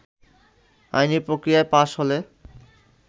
আইনি প্রক্রিয়ায় পাশ হলে